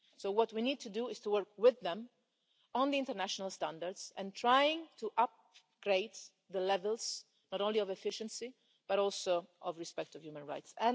So what we need to do is to work with them on the international standards and try to upgrade the levels not only of efficiency but also of respect of human rights.